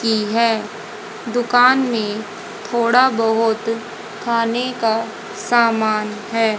की है दुकान में थोड़ा बहुत खाने का सामान है।